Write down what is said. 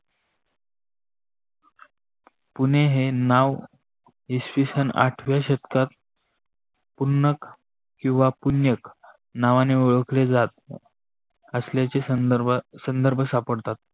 पुणे हे नाव इसवी सन आठव्या शतकात उन्क किवा पुन्नक नावाने ओळखले जात असल्याचे संदर्भ सापडतात.